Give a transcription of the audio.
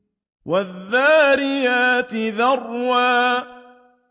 وَالذَّارِيَاتِ ذَرْوًا